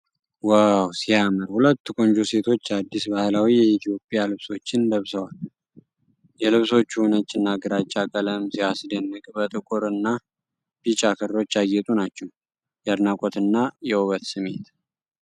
ዋው ሲያምር! ሁለት ቆንጆ ሴቶች አዲስ፣ ባህላዊ የኢትዮጵያ ልብሶችን ለብሰዋል። የልብሶቹ ነጭና ግራጫ ቀለም ሲያስደንቅ፣ በጥቁርና ቢጫ ክሮች ያጌጡ ናቸው። የአድናቆትና የውበት ስሜት!